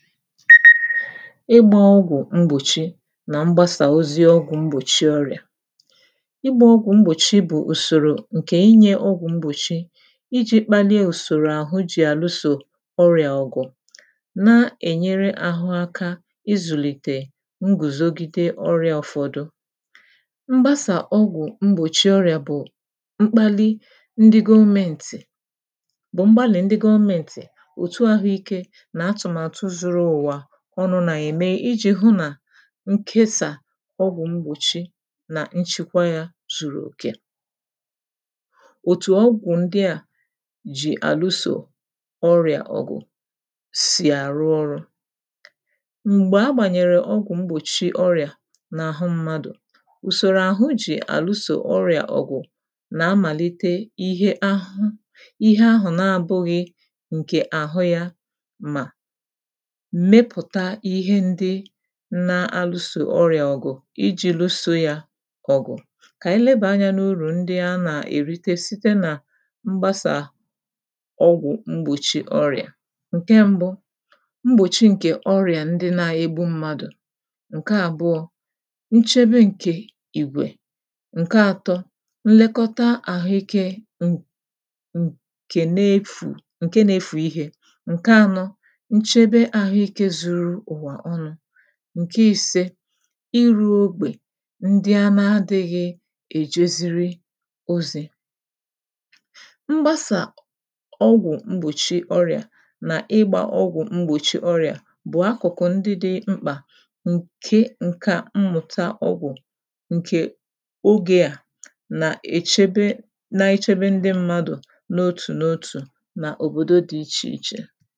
Ịgbā ọgwụ̀ mgbòchi nà mgbasà ozi ọgwụ mgbòchi ọrị̀à ịgbā ọgwụ̀ mgbòchi bụ̀ ùsòrò ǹkè inyē ọgwụ̀ mgbòchi ijī kpalie ùsòrò àhụ jì àlụsò ọrị̀à ọ̀gụ̀ na-ènyere àhụ aka ịzụ̀lìtè ngùzogide ọrị̄a ụfọdụ mgbasà ọgwụ̀ mgbòchi ọrị̀à bụ̀ mkpalị ndị gọmēntị̀ bụ̀ mgbalị̀ ndị gọmēntị̀, òtu àhụ ikē nà atụ̀màtụ zuru ụ̀wà ọnụ̄ nà-ème ijī hụ nà nkesà ọgwụ mgbòchi nà nchikwa yā zùrù òkè òtù ọgwụ̀ ndị à ji àlụsò ọrị̀à ọ̀gụ̀ sì àrụ ọrụ̄ m̀gbè agbànyèrè ọgwụ̄ mgbòchi ọrị̀à n’àhụ mmadụ̀ ùsòrò àhụ jì àlụsò ọrị̀à ọ̀gụ̀ nà amàlite ihe a ihe ahụ̀ na abụghị̄ ǹkè àhụ yā mà mepụ̀ta ihe ndị na- alụsò ọrị̀à ọ̀gụ̀ ijī lụsō yā ọ̀gụ̀ kà ànyị lebàa anyā n’urù ndị anà-èrite site nà mgbasà ọgwụ̀ mgbòchi ọrị̀à ǹke mbụ mgbòchi ǹkè ọrị̀à ndị na-egbu mmadụ̀ ǹke àbụọ̄ nchebe ǹkè ìgwè ǹke atọ nlekọta àhụikē ǹ ǹ ǹkè na-efù ǹke na-efù ihē ǹke anọ nchebe àhụikē zuru ụ̀wà ọnụ̄ ǹke ise ịrụ̄ okpè ndị ana-adị̄ghị̄ èjeziri ozī mgbasà ọgwụ̀ mgbòchi ọrị̀à nà ịgbā ọgwụ̀ mgbòchi ọrị̀à bụ̀ akụ̀kụ ndị dị mkpà ǹke ǹkà mmụ̀ta ọgwụ̀ ǹkè ogē à nà èchebe na-echebe ndị mmadụ n’otù n’otù n’òbòdo dị ichè ichè